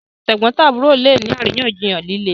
àwọn tegbontaburo lẹ ní àríyànjiyàn lílé.